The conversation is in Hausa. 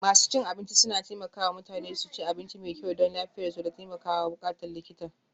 Masu cin abinci suna taimaka wa mutane su ci abinci mai kyau don lafiyarsu da takamaiman buƙatun likita.